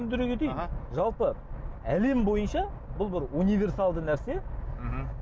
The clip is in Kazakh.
түсіндіре кетейін жалпы әлем бойынша бұл бір универсалды нәрсе мхм